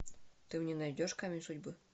ты мне найдешь камень судьбы